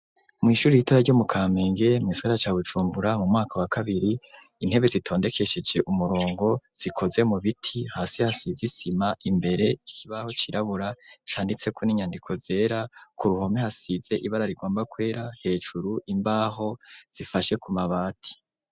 mw'ishuri ritora ryo mu kamenge mugisagara ca Bujumbura mu mwaka wa kabiri intebe zitondekesheje umurongo zikoze mu biti hasi hasizisima imbere ikibaho cirabura shanditseko n'inyandiko zera ku ruhome hasize ibara rigomba kwera hejuru imbaho zifashe ku mabati